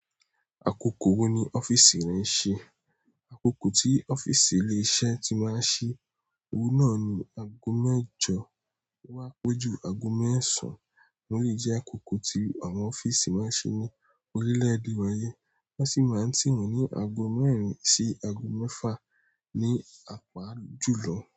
Àkókò wo ni ọ́fíìsì rẹ ń ṣe? Àkókò tí ọ́fíìsì ilé iṣẹ́ ti máa ń ṣí, òun náà ni ago mẹ́jọ o wá peju ago mẹ́sàn án. Ó lè jẹ́ àkókò tí àwọn ọ́fíìsì máa ń ṣí ní orílẹ̀ èdè wa yìí. Wọ́n sì máa ń ti wọn ní ago mẹ́rin sí ago mẹ́fà ní apá àlu jùlọ.